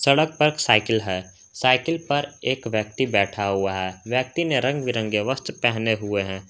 सड़क पर साइकिल है साइकिल पर एक व्यक्ति बैठा हुआ है व्यक्ति ने रंग बिरंगे वस्त्र पहने हुए हैं।